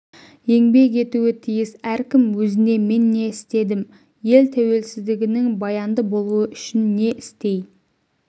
еңбек етуі тиіс әркім өзіне мен не істедім ел тәуелсіздігінің баянды болуы үшін не істей